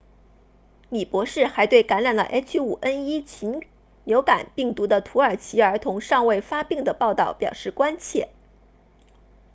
李博士还对感染了 h5n1 禽流感病毒的土耳其儿童尚未发病的报道表示关切